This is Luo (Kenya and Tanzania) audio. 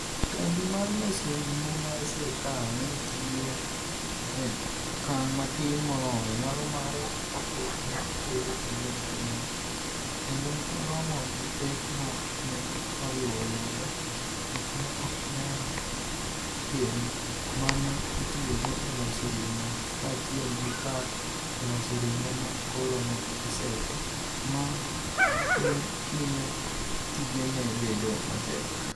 Kambi mar loso ring'o mar sirkal ne tiyo e okang' matin moloyo nyalo mare kapok ne otere e lwet jomoko, kendo ne oromo gi pek ma ne oriwo yudo gik ma ok nyal gen ma ne itiyogo e loso ring'o, kaachiel gi kar loso ring'o ma koro ne oseti, ma ne miyo tijene bedo matek.